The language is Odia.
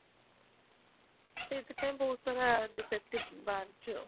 ସେଥିପାଇଁ ବହୁତ ସାରା defective ବାହାରୁଛି ଆଉ